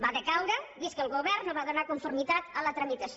va decaure vist que el govern no va donar conformitat a la tramitació